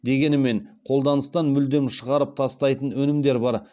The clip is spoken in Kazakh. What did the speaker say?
дегенімен қолданыстан мүлде шығарып тастайтын өнімдер бар